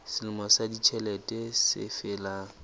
selemo sa ditjhelete se felang